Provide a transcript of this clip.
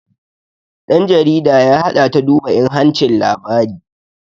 ɗan jarida ya haɗa ta duba inhancin labari